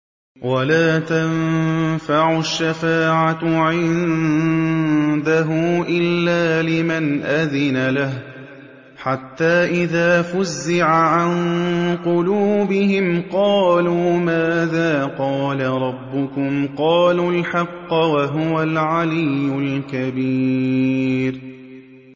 وَلَا تَنفَعُ الشَّفَاعَةُ عِندَهُ إِلَّا لِمَنْ أَذِنَ لَهُ ۚ حَتَّىٰ إِذَا فُزِّعَ عَن قُلُوبِهِمْ قَالُوا مَاذَا قَالَ رَبُّكُمْ ۖ قَالُوا الْحَقَّ ۖ وَهُوَ الْعَلِيُّ الْكَبِيرُ